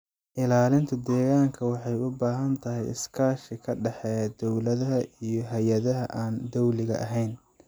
Ilaalinta deegaanka waxay u baahan tahay iskaashi ka dhexeeya dowladaha iyo hay'adaha aan dawliga ahayn.